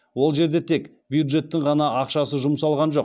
ол жерде тек бюджеттің ғана ақшасы жұмсалған жоқ